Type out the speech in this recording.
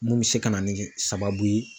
Mun bɛ se ka na ni sababu ye.